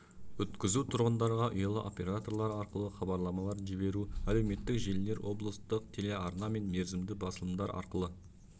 өткізу тұрғындарға ұялы операторлар арқылы хабарламалар жіберу әлеуметтік желілер облыстық телеарна мен мерзімді басылымдар арқылы